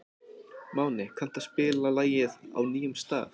Máni, kanntu að spila lagið „Á nýjum stað“?